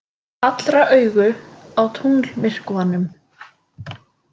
Allra augu á tunglmyrkvanum